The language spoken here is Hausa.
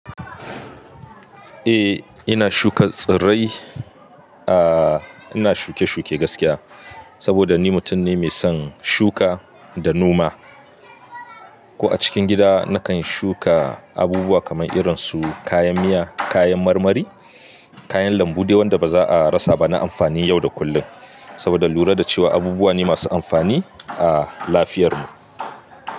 Eh ina shuka tsirai, ah ina shuke shuke gaskiya saboda ni mutum ne mai son shuka da noma. Ko a cikin gida nakan shuka abubuwa kamar irin su kayan miya, kayan marmari, kayan lambu dai wanda baza a rasa ba na amfani yau da kullum. Saboda lura da cewa abubuwa ne masu amfani a lafiyar mu.